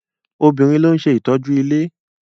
Obìnrin ló ń ṣe ìtọ́jú ilé.